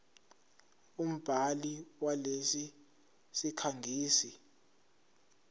umbhali walesi sikhangisi